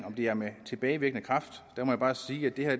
det er med tilbagevirkende kraft må jeg bare sige at det her